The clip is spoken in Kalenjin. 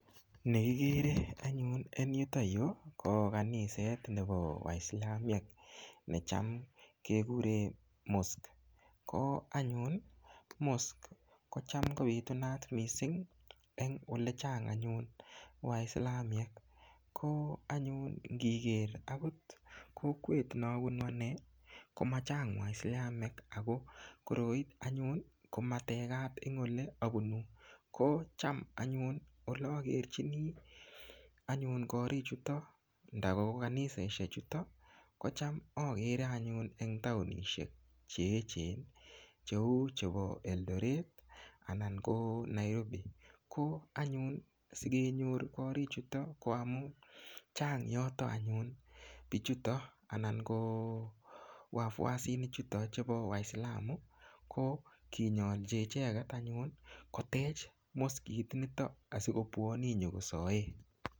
Nekikere anyun en yuto yu ko kaniset nepo waisilamiek necham kekurem mosque koo anyun mosque kocham kobitunat missing en olechang waislamiek koo anyun ngiker akot kokwet nabunu anee komachang waisilamiek ako koroi anyun komatekat en oleabunu ko cham anyun olokerchini anyun korichuto ndakoko kanisaisiechuto kocham akere anyun eng taonishek cheechen cheu chepo Eldoret anan koo Nairobi ko anyun sikenyor korichuto ko amun chang yoto anyun bichuto anan ko 'wafuasinichuto' chepo waisilamu ko kinyolchi icheket anyun kotech mosquenito asikobwone inyokosaen.